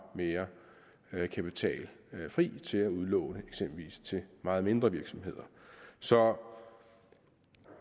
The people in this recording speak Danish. mere kapital fri til at udlåne eksempelvis til meget mindre virksomheder så